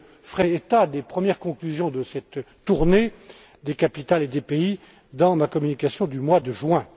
Je ferai état des premières conclusions de cette tournée des capitales et des pays dans ma communication du mois de